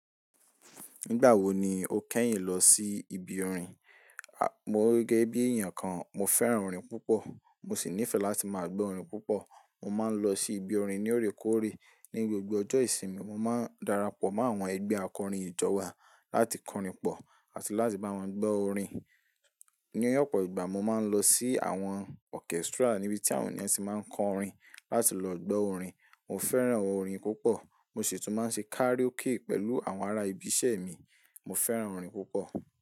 Nígbà wo ni o kẹ́yìn lọ sí ibi orin? Mo gẹ́ bí èèyàn kan, mo fẹ́ràn orin púpọ̀. Mo sì nífẹ̀ẹ́ láti máa gbọ́ orin púpọ̀. Mo máa ń lọ sí ibi orin ní órekóòrè. Ní gbogbo ọjọ́ ìsinmi, mo máa ń darapọ̀ mọ́ àwọn ẹgbẹ́ akọrin ìjọ wa láti kọrin pọ̀ àti láti bá wọn gbọ́ orin. Ní ọ̀pọ̀ ìgbà mo máa ń lọ sí àwọn orchestra níbi tí àwọn èyàn tí máa ń kọ orin láti lọ gbọ́ orin. Mo fẹ́ràn orin púpọ̀. Mo sì tún máa ń ṣe karaoke pẹ̀lú àwọn ará ibi iṣẹ́ mi. Mo fẹ́ràn orin púpọ̀